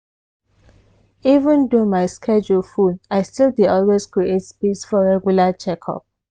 even though my schedule full i still dey always create space for regular checkup.